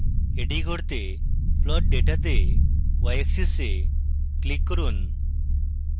এটি করতে plot data তে yaxis এ ক্লিক করুন